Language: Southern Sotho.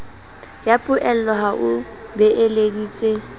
ya poello ha o beeleditse